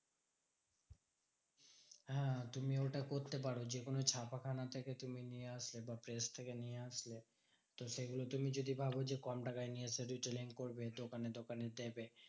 হ্যাঁ তুমি ওটা করতে পারো যেকোনো ছাপাখানা থেকে তুমি নিয়ে আসলে বা press থেকে নিয়ে আসলে, তো সেগুলো তুমি যদি ভাবো যে কম টাকায় নিয়ে এসে retailing করবে দোকানে দোকানে দেবে